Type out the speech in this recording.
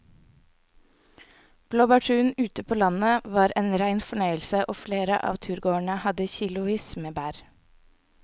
Blåbærturen ute på landet var en rein fornøyelse og flere av turgåerene hadde kilosvis med bær.